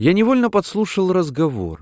я невольно подслушал разговор